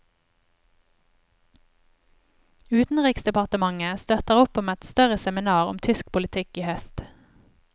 Utenriksdepartementet støtter opp om et større seminar om tysk politikk i høst.